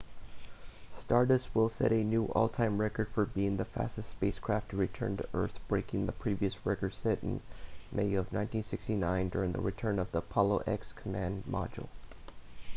stardust will set a new all-time record for being the fastest spacecraft to return to earth breaking the previous record set in may of 1969 during the return of the apollo x command module